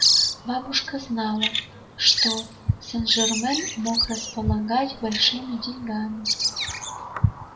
бабушка знала что сен-жермен мог располагать большими деньгами